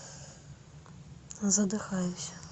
задыхаюсь